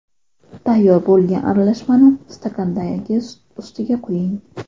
Tayyor bo‘lgan aralashmani stakandagi sut ustiga quying.